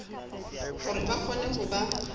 hore ba kgone ho ba